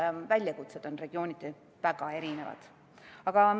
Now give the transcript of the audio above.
Sest väljakutsed on regiooniti väga erinevad.